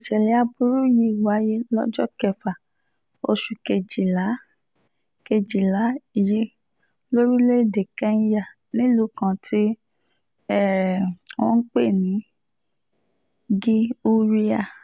um ìṣẹ̀lẹ̀ aburú yìí wáyé lọ́jọ́ kẹfà oṣù kejìlá kejìlá yìí lórílẹ̀‐èdè kẹ́ńyà nílùú kan tí um wọ́n ń pè ní gí húráì